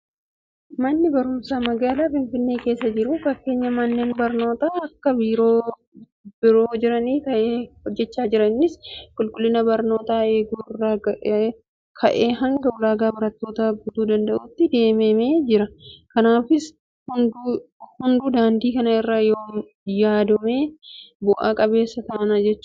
Manni barumsaa magaalaa finfinnee keessa jiru fakkeenya manneen barnootaa bakka biroo jiranii ta'ee hojjechaa jira. Innis qulqullina barnootaa eeguu irraa ka'ee hanga ulaagaa barattootaa guutuu danda'uutti deemamee jira. Kanaaf hunduu daandii kana irra yoodeeme bu'a qabeessa taana jechuudha.